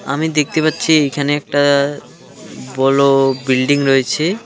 আমি দেখতে পাচ্ছি এইখানে একটা উম বলো বিল্ডিং রয়েছে।